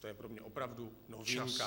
To je pro mě opravdu novinka.